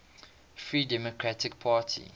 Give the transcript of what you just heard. free democratic party